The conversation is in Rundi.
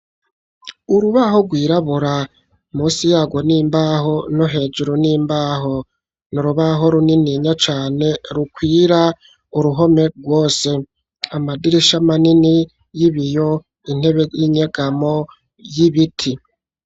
Urubaho rwirabura munsi yarwo nimbaho no hejuru n'imbaho, n'urubaho runini nya cane rukwira uruhome rwose amadirisha manini y'ibiyo intebe y'inyegamo y'ibiti.